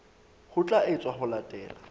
ho tla etswa ho latela